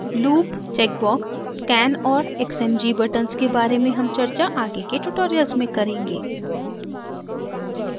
loop check box scan और xmg buttons के बारे में हम चर्चा आगे के tutorials में करेंगे